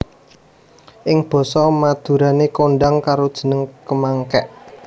Ing basa basa Madurané kondhang karo jeneng kemangék